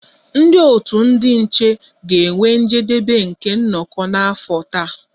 Ndị otu ndị nche ga-enwe njedebe nke nnọkọ afọ taa